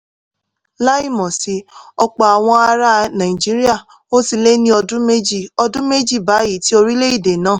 láìmọ̀ sí ọ̀pọ̀ àwọn ará nàìjíríà ó ti lé ní ọdún méjì ọdún méjì báyìí tí orílẹ̀-èdè náà